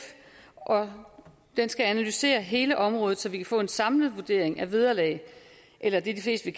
og den skal analysere hele området så vi kan få en samlet vurdering af vederlag eller det de fleste